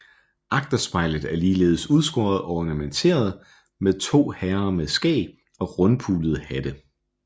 Agterspejlet er ligeledes udskåret og ornamenteret med to herre med skæg og rundpullede hatte